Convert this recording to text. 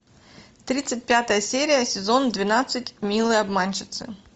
тридцать пятая серия сезон двенадцать милые обманщицы